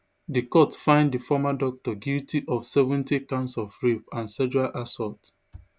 di court find di former doctor guilty of seventy counts of rape and sexual assault